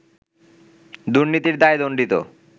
দুর্নীতির দায়ে দণ্ডিত